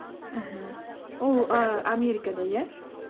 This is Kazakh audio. мхм ол і америкада иә